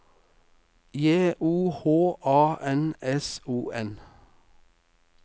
J O H A N S O N